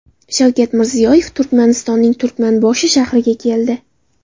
Shavkat Mirziyoyev Turkmanistonning Turkmanboshi shahriga keldi.